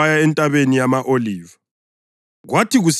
Kodwa uJesu waya eNtabeni yama-Oliva.